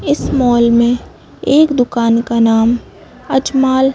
इस मॉल में एक दुकान का नाम अजमाल--